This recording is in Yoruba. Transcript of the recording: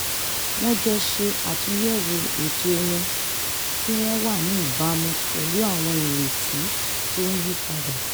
wọ́n jọ ṣe àtúnyẹ̀wò ètò wọn kí wọ́n wà ní ìbámu pẹ̀lú àwọn ìrètí tó ń yípadà